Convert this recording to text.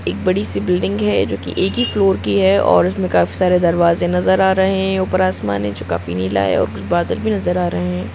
एक बडी सी बिल्डिंग है जो कि एक ही फ्लोर की है और उसमे काफी सारे दरवाजे नजर आ रहे हैं ऊपर आसमान समान है जो काफी नीला है और कुछ बादल भी नजर आ रहे हैं।